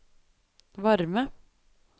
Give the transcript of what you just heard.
varme